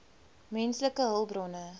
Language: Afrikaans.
menslike hulpbronne